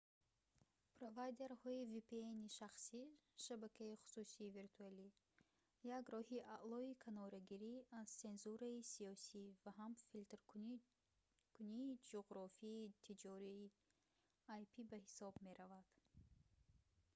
провайдерҳои vpn-и шахсӣ шабакаи хусусии виртуалӣ як роҳи аълои канорагирӣ аз сензураи сиёсӣ ва ҳам филтркунии ҷуғрофии тиҷории ip ба ҳисоб мераванд